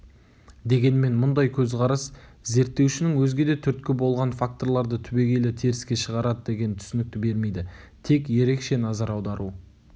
дегенмен мұндай көзқарас зерттеушінің өзге де түрткі болған факторларды түбегейлі теріске шығарады деген түсінікті бермейді тек ерекше назар аудару